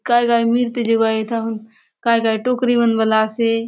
काय-काय मिलते जाऊ आय एथा काय काय टोकरी मन बले आसे।